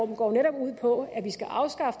går netop ud på